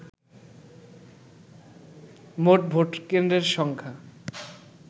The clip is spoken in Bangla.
মোট ভোটকেন্দ্রের সংখ্যা